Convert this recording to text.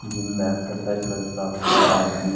gym में exercise करता हुआ आदमी --